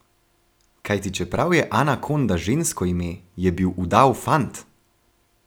Kajti čeprav je Ana Konda žensko ime, je bil udav fant!